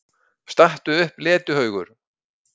STATTU UPP, LETIHAUGUR!